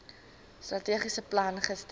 strategiese plan gister